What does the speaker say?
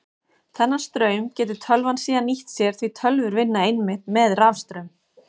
Þennan straum getur tölvan síðan nýtt sér því tölvur vinna einmitt með rafstraum.